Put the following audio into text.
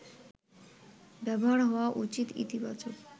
ব্যবহার হওয়া উচিত ইতিবাচক